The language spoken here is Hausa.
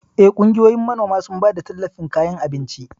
Eh, kungiyoyin manoman sun bada talllafin kayan abinci.